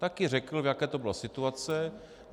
Taky řekl, v jaké to bylo situaci.